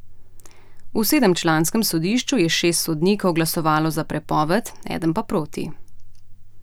V sedemčlanskem sodišču je šest sodnikov glasovalo za prepoved, eden pa proti.